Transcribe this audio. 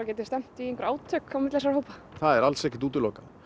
geti stefnt í einhver átök milli þessara hópa það er alls ekkert útilokað